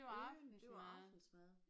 Unden det var aftensmad